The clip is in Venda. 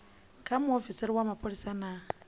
kha muofisiri wa mapholisa na